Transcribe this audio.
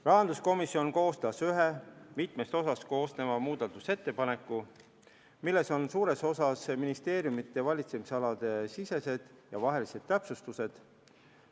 Rahanduskomisjon koostas ühe mitmest osast koosneva muudatusettepaneku, milles on suures osas ministeeriumide valitsemisalade sisesed ja vahelised täpsustused.